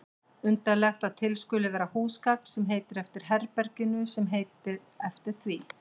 Undarlegt að til skuli vera húsgagn sem heitir eftir herberginu sem heitir eftir því.